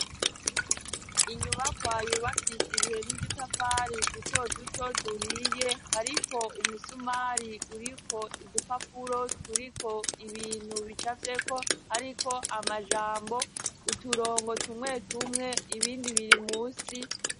inyubako yubakishijwe n'udutafari duto duto duhiye hariko umusumari uriko udupapuro turiko ibintu bicafyeko ariko amajambo uturongo tumwe tumwe ibindi biri munsi